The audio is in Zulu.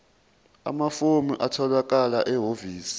amafomu atholakala ehhovisi